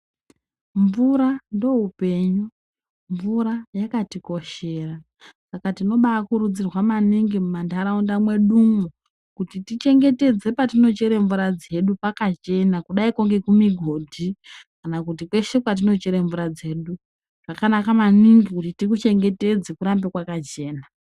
Mvura ndoupenyu, mvura yakatikoshera. Saka tinobaakurudzirwa maningi mumantharaunda mwedumwo, kuti tichengetedze patinochere mvura dzedu pakachena kudaiko ngekumigodhi kana kweshe kwatinochere mvura dzedu. Zvakanaka maningi kuti tikuchengetedze kurambe kwakachena.